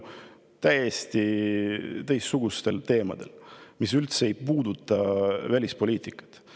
täiesti teistsugustel teemadel, mis ei puuduta üldse välispoliitikat.